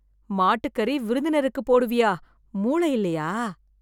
மாட்டுக்கறி விருந்தினருக்கு போடுவியா? மூளை இல்லையா?